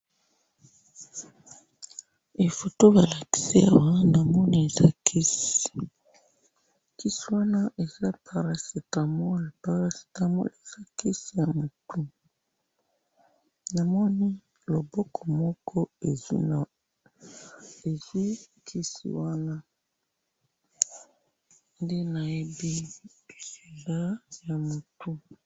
photo balakisi awa namoni eza kisi kisi wana eza paracetamol ezakisi yamutu namoni loboko moko ezuwi kisi wana ndenamoni